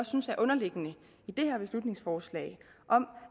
synes er underliggende i det her beslutningsforslag om